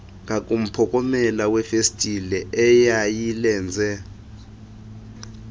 ngakumphokomela wefestile eyayilenze